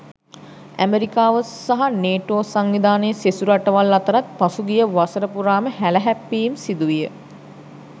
ඇමෙරිකාව සහ නේටෝ සංවිධානයේ සෙසු රටවල් අතරත් පසුගිය වසර පුරාම හැල හැප්පීම් සිදුවිය.